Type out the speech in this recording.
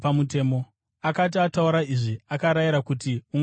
Akati ataura izvi, akarayira kuti ungano iparare.